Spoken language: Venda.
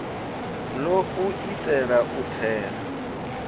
ḽo u itea u thela